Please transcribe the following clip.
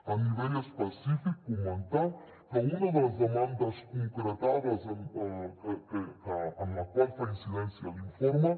a nivell específic comentar que una de les demandes concretades en la qual fa incidència l’informe